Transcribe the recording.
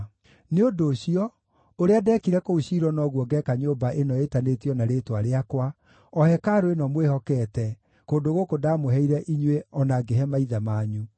Nĩ ũndũ ũcio, ũrĩa ndeekire kũu Shilo noguo ngeeka nyũmba ĩno ĩĩtanĩtio na Rĩĩtwa rĩakwa, o hekarũ ĩno mwĩhokete, kũndũ gũkũ ndamũheire inyuĩ o na ngĩhe maithe manyu.